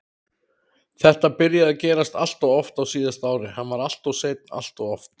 Þetta byrjaði að gerast alltof oft á síðasta ári, hann var alltof seinn alltof oft.